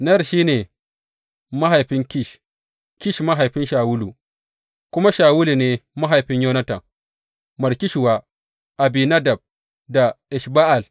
Ner shi ne mahaifin Kish, Kish mahaifin Shawulu, kuma Shawulu ne mahaifin Yonatan, Malki Shuwa, Abinadab da Esh Ba’al.